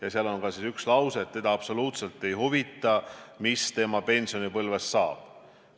Ja seal on ka üks lause, et teda absoluutselt ei huvita, mis tema pensionipõlvest saab.